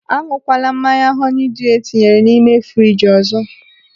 Añụkwala mmanya họni dịu etinyere n'ime friji ọzọ!